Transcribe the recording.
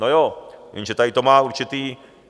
No jo, jenže tady to má určitý...